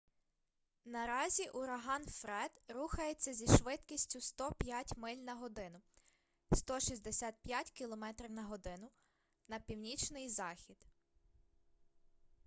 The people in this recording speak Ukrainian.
наразі ураган фред рухається зі швидкістю 105 миль на годину 165 км/год на північний захід